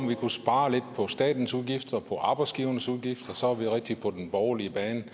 vi kan spare lidt på statens udgifter og arbejdsgivernes udgifter og så er vi rigtig på den borgerlige bane